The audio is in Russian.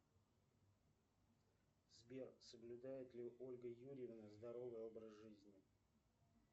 сбер соблюдает ли ольга юрьевна здоровый образ жизни